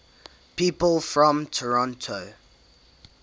people from toronto